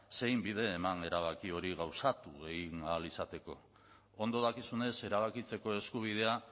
zein bide eman erabaki hori gauzatu ahal egin izateko ondo dakizunez erabakitzeko eskubidea